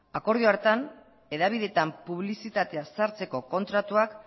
akordio hartan hedabideetan publizitatea sartzeko kontratuak